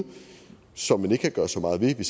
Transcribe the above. som man ikke kan gøre så meget ved